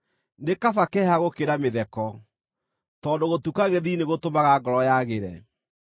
Nĩ kaba kĩeha gũkĩra mĩtheko, tondũ gũtuka gĩthiithi nĩgũtũmaga ngoro yagĩre.